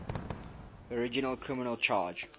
original criminal charge